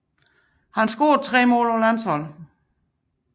Han scorede tre mål på landsholdet